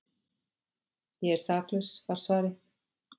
Ég er saklaus var svarið.